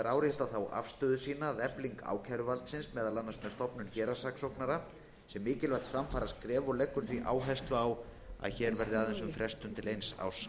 árétta þá afstöðu sína að efling ákæruvaldsins meðal annars með stofnun embættis héraðssaksóknara er mikilvægt framfaraskref og leggur því áherslu á að hér er aðeins um að ræða frestun til eins árs